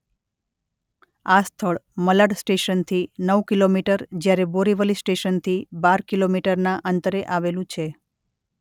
આ સ્થળ મલાડ સ્ટેશન થી નવ કિલોમીટર જ્યારે બોરિવલી સ્ટેશનથી બાર કિલોમીટરના અંતરે આવેલું છે.